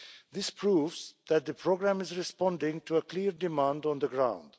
This proves that the programme is responding to a clear demand on the ground.